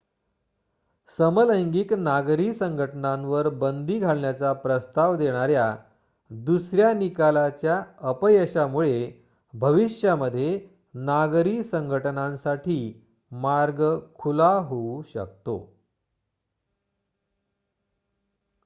समलैंगिक नागरी संघटनांवर बंदी घालण्याचा प्रस्ताव देणाऱ्या दुसऱ्या निकालाच्या अपयशामुळे भविष्यामध्ये नागरी संघटनांसाठी मार्ग खुला होऊ शकतो